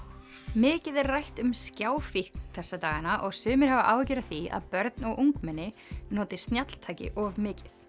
mikið er rætt um þessa dagana og sumir hafa áhyggjur af því að börn og ungmenni noti snjalltæki of mikið